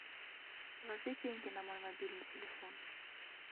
положи деньги на мой мобильный телефон